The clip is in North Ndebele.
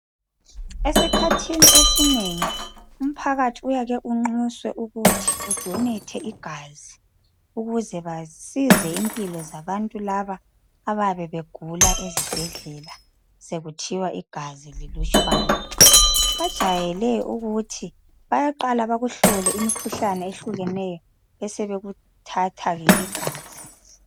Esikhathini esinengi, umphakathi uyake unxuswe ukuthi udonethe igazi. Ukuze basize impilo zabantu laba, abayabe begula ezibhedlela..Sekuthiwa igazi lilutshwana. Kujayeleke ukuthi, bayaqala bakuhlole imikhuhlane ethile. Basebekuthatha ke igazi.